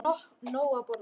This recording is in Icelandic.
Við fáum nóg að borða.